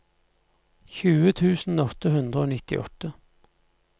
tjue tusen åtte hundre og nittiåtte